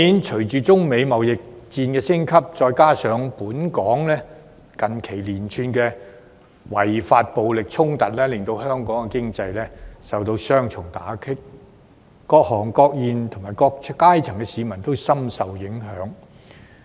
隨着中美貿易戰升級，加上本港近期發生連串違法暴力衝突，香港經濟受到雙重打擊，各行各業及各階層市民都深受影響。